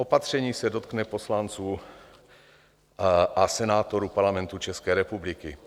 Opatření se dotkne poslanců a senátorů Parlamentu České republiky.